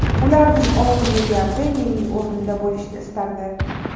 Ularning olti milliardi mening o‘rnimda bo‘lishni istardi.